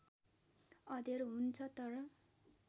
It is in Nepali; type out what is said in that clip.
अँध्यारो हुन्छ तर